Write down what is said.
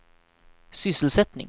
sysselsättning